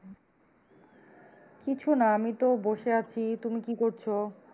কিছু না আমি তো বসে আছি তুমি কি করছো?